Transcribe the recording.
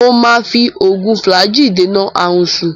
Mo máa fi oògùn Flagyl dènà aàrùnsu